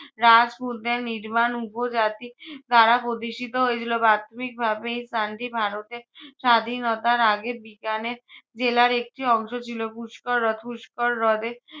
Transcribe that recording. রাজপুতদের নির্বাণ উপজাতি দ্বারা প্রতিষ্ঠিত হয়েছিল। প্রাথমিকভাবে এই স্থানটি ভারতের স্বাধীনতার আগে বিকানের জেলার একটি অংশ ছিল। পুষ্কর হ্রদ পুষ্কর হ্রদে